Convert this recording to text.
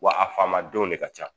Wa a famadenw de ka ca